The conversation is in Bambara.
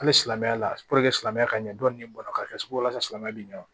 Hali silamɛya la silamɛya ka ɲɛ dɔɔnin ka kɛ sugu la sa silamɛ bi ɲɛ wo